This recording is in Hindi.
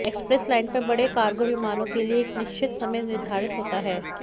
एक्सप्रेस लाइन पर बड़े कार्गो विमानों के लिए एक निश्चित समय निर्धारित होता है